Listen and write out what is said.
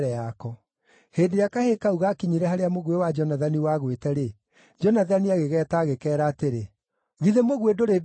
Hĩndĩ ĩrĩa kahĩĩ kau gaakinyire harĩa mũguĩ wa Jonathani wagwĩte-rĩ, Jonathani agĩgeeta agĩkeera atĩrĩ, “Githĩ mũguĩ ndũrĩ mbere yaku?”